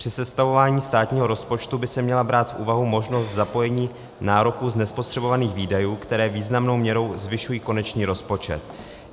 Při sestavování státního rozpočtu by se měla brát v úvahu možnost zapojení nároků z nespotřebovaných výdajů, které významnou měrou zvyšují konečný rozpočet.